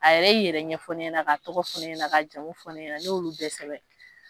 A yɛrɛ i yɛrɛ ɲɛfɔ ne ɲɛnɛ ka tɔgɔ fɔ ne ɲɛnɛ ka jamu fɔ ne ɲɛnɛ ne y'olu bɛɛ sɛbɛ.